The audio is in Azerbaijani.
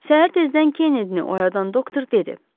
Səhər tezdən Kennedy-ni oyadan doktor dedi: